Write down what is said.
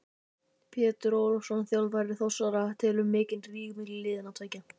Pétur Ólafsson þjálfari Þórsara: Telurðu mikinn ríg milli liðanna tveggja?